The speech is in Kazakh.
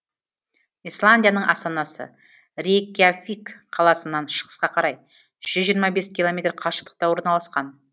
исландияның астанасы рейкьявик қаласынан шығысқа қарай жүз жиырма бес километр қашықтықта орналасқан